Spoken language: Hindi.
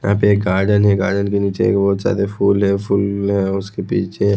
यहाँ पे एक गार्डन है गार्डन के नीचे बहुत सारे फूल है फूल जो है उसके पीछे--